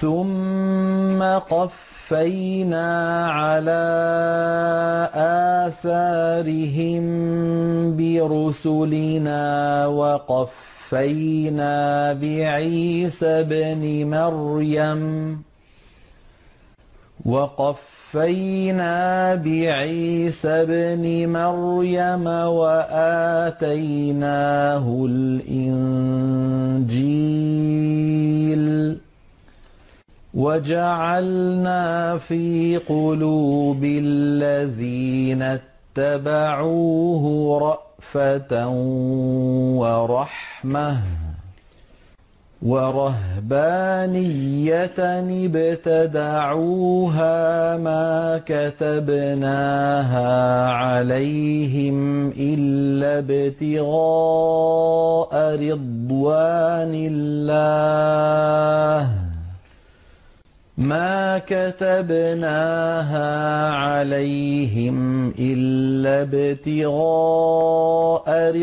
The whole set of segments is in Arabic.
ثُمَّ قَفَّيْنَا عَلَىٰ آثَارِهِم بِرُسُلِنَا وَقَفَّيْنَا بِعِيسَى ابْنِ مَرْيَمَ وَآتَيْنَاهُ الْإِنجِيلَ وَجَعَلْنَا فِي قُلُوبِ الَّذِينَ اتَّبَعُوهُ رَأْفَةً وَرَحْمَةً وَرَهْبَانِيَّةً ابْتَدَعُوهَا مَا كَتَبْنَاهَا عَلَيْهِمْ إِلَّا ابْتِغَاءَ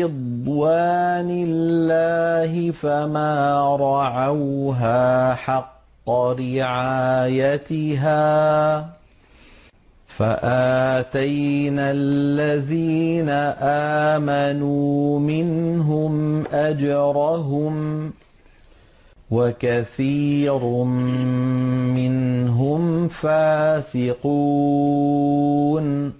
رِضْوَانِ اللَّهِ فَمَا رَعَوْهَا حَقَّ رِعَايَتِهَا ۖ فَآتَيْنَا الَّذِينَ آمَنُوا مِنْهُمْ أَجْرَهُمْ ۖ وَكَثِيرٌ مِّنْهُمْ فَاسِقُونَ